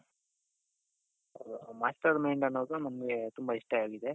master mind ಅನ್ನೋದು ನಮಗೆ ತುಂಬಾ ಇಷ್ಟ ಆಗಿದೆ.